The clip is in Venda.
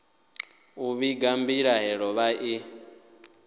u vhiga mbilahelo vha i